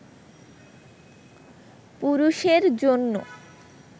পুরুষের জন্য